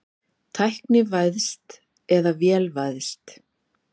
Tæknivæðst eða vélvæðst?